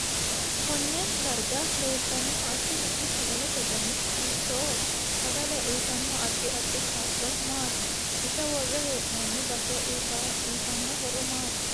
Konne darga leeltanno addi addi sagalete dani hiitooho sagale uyiitanno addi addi kaa'lo maati ise worre heenooni base i Uyiitatnno horo maati